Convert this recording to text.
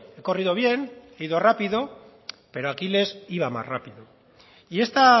he corrido bien he ido rápido pero aquiles iba más rápido y esta